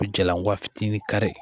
I bi jalankɔwa fitinin kari